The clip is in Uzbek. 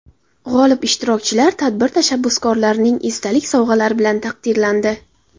G‘olib ishtirokchilar tadbir tashabbuskorlarining esdalik sovg‘alari bilan taqdirlandi.